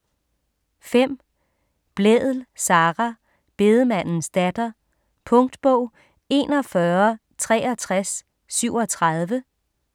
5. Blædel, Sara: Bedemandens datter Punktbog 416337